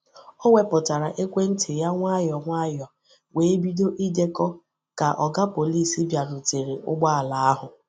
Ọ wepụtara ekwentị ya nwayọọ nwayọọ wee bido idekọ ka Oga Pọlịs bịarutere ụgbọ ala ahụ.